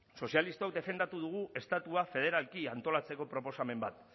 sozialistok defendatu dugu estatua federalki antolatzeko proposamen bat